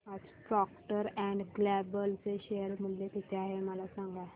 आज Procter and Gamble चे share मूल्य किती आहे मला सांगा